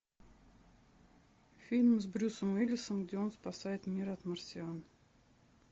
фильм с брюсом уиллисом где он спасает мир от марсиан